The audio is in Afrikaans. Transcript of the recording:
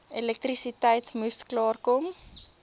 elektrisiteit moes klaarkom